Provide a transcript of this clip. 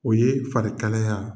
O ye farikalaya